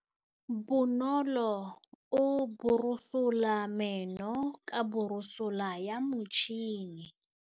Bonolô o borosola meno ka borosolo ya motšhine.